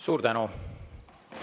Suur tänu!